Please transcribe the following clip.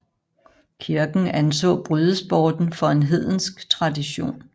Kirken anså brydesporten for en hedensk tradition